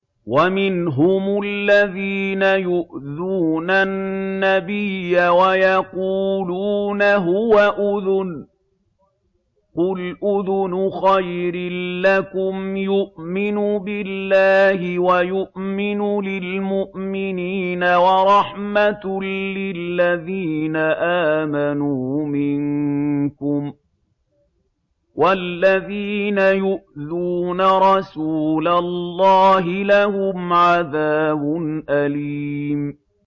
وَمِنْهُمُ الَّذِينَ يُؤْذُونَ النَّبِيَّ وَيَقُولُونَ هُوَ أُذُنٌ ۚ قُلْ أُذُنُ خَيْرٍ لَّكُمْ يُؤْمِنُ بِاللَّهِ وَيُؤْمِنُ لِلْمُؤْمِنِينَ وَرَحْمَةٌ لِّلَّذِينَ آمَنُوا مِنكُمْ ۚ وَالَّذِينَ يُؤْذُونَ رَسُولَ اللَّهِ لَهُمْ عَذَابٌ أَلِيمٌ